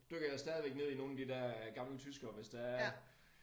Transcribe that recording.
Dykker jeg stadigvæk ned i nogle af de der gamle tyskere hvis der er